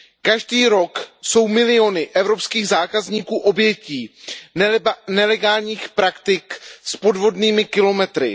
Každý rok jsou miliony evropských zákazníků obětí nelegálních praktik s podvodnými kilometry.